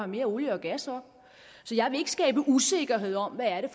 mere olie og gas op så jeg vil ikke skabe usikkerhed om hvad det